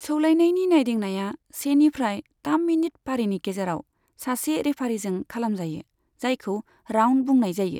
सौलायनायनि नायदिंनाया सेनिफ्राय थाम मिनित फारिनि गेजेराव सासे रेफारीजों खालामजायो, जायखौ राउन्ड बुंनाय जायो।